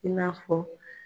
I n'a fɔ